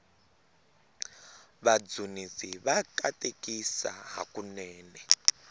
vadzunisi va katekisa hakunene